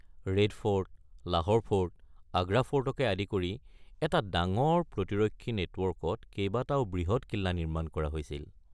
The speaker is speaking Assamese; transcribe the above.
Red fort, Lahore fort, Agra ফৰ্টকে আদি কৰি এটা ডাঙৰ প্ৰতিৰক্ষী নেটৱৰ্কত কেইবাটাও বৃহৎ কিল্লা নিৰ্মাণ কৰা হৈছিল।